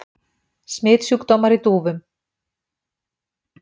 Smitsjúkdómar í dúfum.